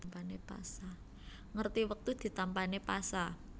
Ngerti wektu ditampané pasa